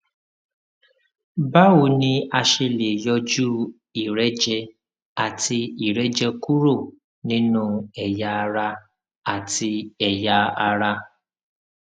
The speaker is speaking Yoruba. báwo ni a ṣe lè yọjú ìrẹjẹ àti ìrẹjẹ kúrò nínú ẹyà ara àti ẹyà ara